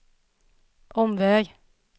omväg